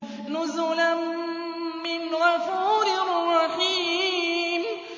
نُزُلًا مِّنْ غَفُورٍ رَّحِيمٍ